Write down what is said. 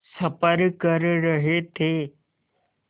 सफ़र कर रहे थे